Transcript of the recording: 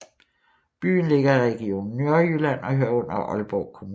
Byen ligger i Region Nordjylland og hører under Aalborg Kommune